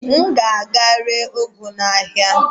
M gaa ree ụgụ a n'ahịa?